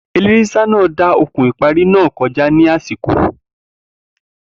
Eléré ṣíṣá náà dá okùn ìparí náà kọjá ní àsìkò